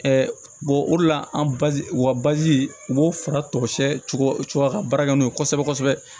o de la an baji u ka u b'o fara tɔsɛw ka baara kɛ n'o ye kosɛbɛ kosɛbɛ